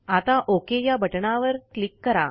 आता ओक या बटणवर क्लिक करा